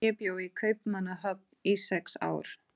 og er mér fullkunnugt um merkingu þess.